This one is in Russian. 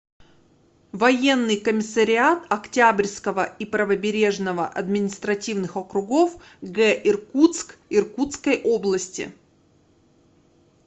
военный комиссариат октябрьского и правобережного административных округов г иркутск иркутской области